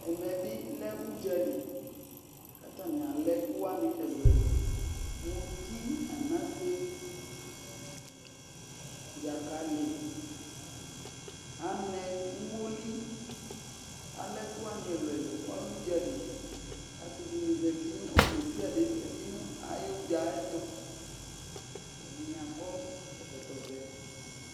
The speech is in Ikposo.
Ɛmɛ bɩ lɛ ʋdza li kʋ atanɩ alɛ ɛkʋ wanɩ ɛlʋ-ɛlʋ: muti, anase, dzakalɩ, anɛ, umoli Alɛ ɛkʋ wanɩ ɛlʋ-ɛlʋ Ɔlɛ ʋdza li kʋ asɩ dɩnɩ zati nʋ ɔlʋ desɩade zati nʋ ayʋ ʋdza yɛ tʋ Ɛdɩnɩ akɔ ɛkɔtɔvɛ